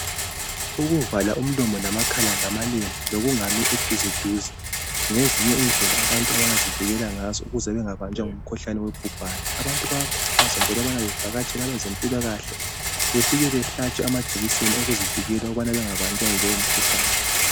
Ukuvalwa umlomo lamakhala ngamalembu lokungami eduzeduze ngezinye indlela abantu abangazivikela ngazo ukuze bangabanjwa ngumkhuhlane wobhubhane . Abantu bayakhuthazwa njalo bevakatshela abezempilakahle befike behlatshwe amajekiseni ukuze bazivikele kulowo mkhuhlane